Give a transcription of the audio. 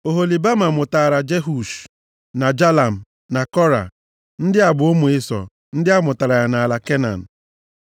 Oholibama mụtaara Jeush na Jalam na Kora. Ndị a bụ ụmụ Ịsọ ndị a mụtara ya nʼala Kenan.